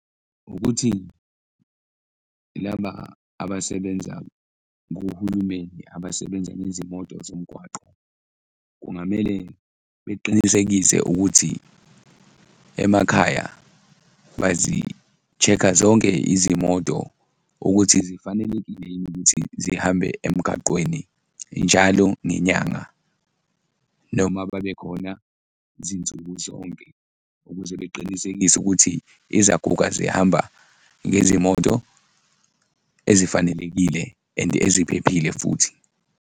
Ukuthi laba abasebenza kuhulumeni abasebenza nezimoto zomgwaqo, kungamele beqinisekise ukuthi emakhaya bazi-check-a zonke izimoto ukuthi zifanelekile yini ukuthi zihambe emgaqweni njalo ngenyanga noma babekhona zinsuku zonke ukuze beqinisekise ukuthi izaguga zihamba ngezimoto ezifanelekile and eziphephile futhi.